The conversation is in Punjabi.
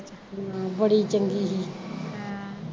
ਹਾਂ ਬੜੀ ਚੰਗੀ ਸੀ ਅਹ